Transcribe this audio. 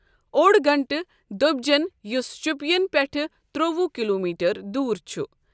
اوٚڑ گنٹہٕ دۄبۍجٮ۪ن یُس شُپین پٮ۪ٹھ تروٚوُہ کلو میٹر دور چھُ ۔